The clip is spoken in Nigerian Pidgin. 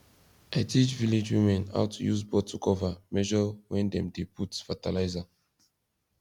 i teach village women how to use bottle cover measure when dem dey put fertilizer